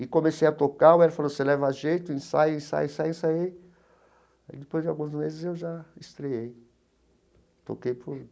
E comecei a tocar, o Hélio falou, você leva jeito, ensaio, ensaio, ensaio, ensaiei, e aí depois de alguns meses eu já estreei